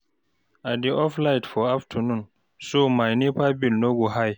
I dey off light for afternoon so my NEPA bill no go high.